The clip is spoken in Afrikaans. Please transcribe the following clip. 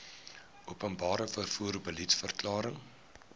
openbare vervoer beliedsverklaring